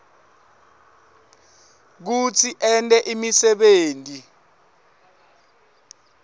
kutsi ente imisebenti